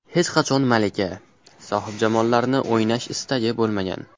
Hech qachon malika, sohibjamollarni o‘ynash istagi bo‘lmagan.